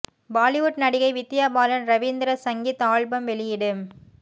பாலிவுட் நடிகை வித்யா பாலன் ரவீந்திர சங்கீத் ஆல்பம் வெளியீடு